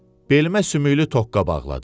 Belimə sümüklü toqqa bağladı.